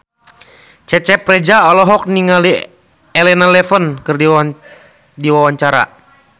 Cecep Reza olohok ningali Elena Levon keur diwawancara